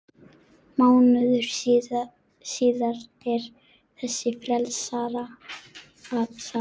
Mánuði síðar er þessi færsla